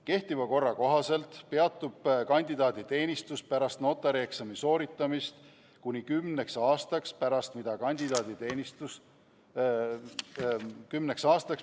Kehtiva korra kohaselt peatub kandidaaditeenistus pärast notarieksami sooritamist kuni kümneks aastaks.